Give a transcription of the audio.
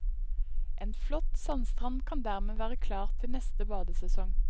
En flott sandstrand kan dermed være klar til neste badesesong.